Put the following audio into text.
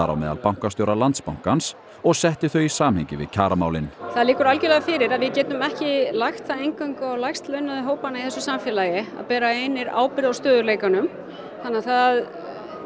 á meðal bankastjóra Landsbankans og setti þau í samhengi við kjaramálin það liggur algjörlega fyrir að við getum ekki lagt það eingöngu á lægst launuðu hópana í þessu samfélagi að bera einir ábyrgð á stöðugleikanum þannig að það